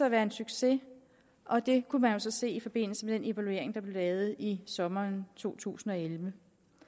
at være en succes og det kunne man se i forbindelse med den evaluering der blev lavet i sommeren to tusind og elleve